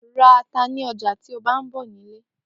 Ra ata ni ọjà tí ó bá ń bọ̀ nílé